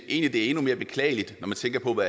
endnu mere beklageligt når man tænker på